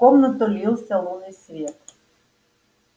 в комнату лился лунный свет